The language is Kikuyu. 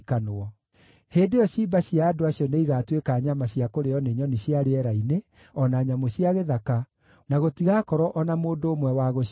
Hĩndĩ ĩyo ciimba cia andũ acio nĩigatuĩka nyama cia kũrĩĩo nĩ nyoni cia rĩera-inĩ, o na nyamũ cia gĩthaka, na gũtigakorwo o na mũndũ ũmwe wa gũcirira.